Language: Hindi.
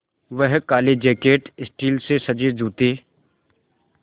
वह काले जैकट स्टील से सजे जूते